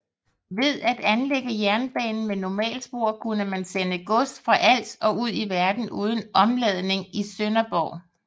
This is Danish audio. Ved at anlægge jernbanen med normalspor kunne man sende gods fra Als og ud i verden uden omladning i Sønderborg